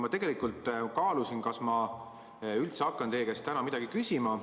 Ma tegelikult kaalusin, kas ma üldse hakkan teie käest täna midagi küsima.